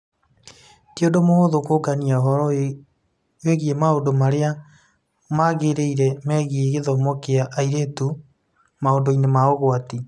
Ti ũndũ mũhũthũ kũũngania ũhoro wĩgiĩ maũndũ marĩa magĩrĩire megiĩ gĩthomo kĩa airĩtu maũndũ-inĩ ma ũgwati.